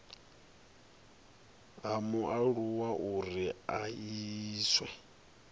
ha mualuwa uri a iswe